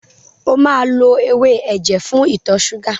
O máa lo ewé ẹ̀jẹ̀ fún ìtọ ṣúgà.